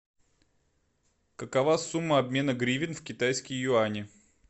какова сумма обмена гривен в китайские юани